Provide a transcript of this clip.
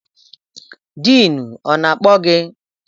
Diinu ọ na-akpọ gị?